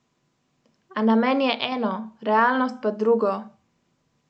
A namen je eno, realnost pa drugo!